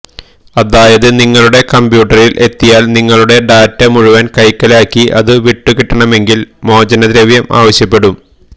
അതായത് നിങ്ങളുടെ കമ്പ്യൂട്ടറില് എത്തിയാല് നിങ്ങളുടെ ഡാറ്റ മുഴുവന് കൈക്കലാക്കി അത് വിട്ടുകിട്ടണമെങ്കില് മോചനദ്രവ്യം ആവശ്യപ്പെടും